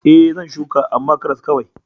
E, zan shuka, amma karas kawai.